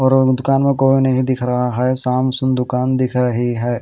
और दुकान में कोई नहीं दिख रहा है साम सुन दुकान दिख रही है।